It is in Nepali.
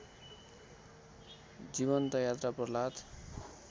जीवन्त यात्रा प्रह्लाद